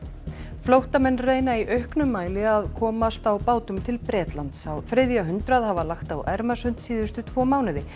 flóttamenn reyna í auknum mæli að komast á bátum til Bretlands á þriðja hundrað hafa lagt á Ermarsund síðustu tvo mánuði